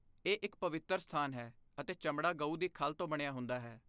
ਇਹ ਇੱਕ ਪਵਿੱਤਰ ਸਥਾਨ ਹੈ ਅਤੇ ਚਮੜਾ ਗਊ ਦੀ ਖੱਲ ਤੋਂ ਬਣਿਆ ਹੁੰਦਾ ਹੈ।